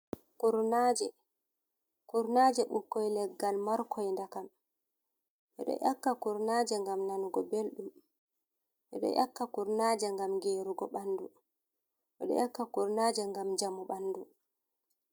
Kurnaaje bikkoy leggal markoy dakam ɓe dyo ƴakka kurnaaja ngam nanugo belɗum ɓe dyo ƴakka kurnaaja ngam geerugo ɓanndu ɓe ɗo ƴakka kurnaaje ngam njamu ɓanndu.